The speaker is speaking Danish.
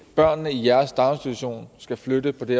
børnene i jeres daginstitution skal flytte på det